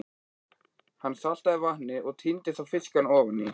Hann saltaði vatnið og tíndi svo fiskana ofaní.